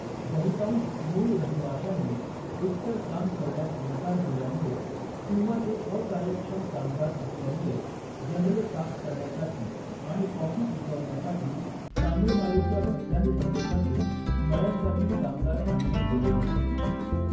बहुतांश मूळ रहिवाशांनी एकतर काम करण्यास नकार दिल्यामुळे किंवा ते अकार्यक्षम कामगार असल्यामुळे, जंगले साफ करण्यासाठी आणि कॉफी पिकवण्यासाठी तामिळनाडूच्या मैदानी प्रदेशातून मळ्यांसाठी कामगार आणले गेले होते.